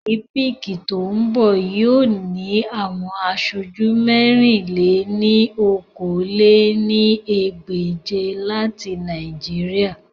Olimpiiki to n bọ yoo ni awọn aṣoju mẹ̀rin-lé-ní-okòó lé ní ẹgbẹ́je lati Naijiria